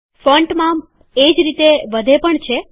font માપ એ જ રીતે વધે પણ છે